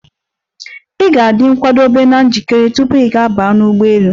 Ị ga-adị nkwadebe na njikere tupu gị baa n'ụgbọelu.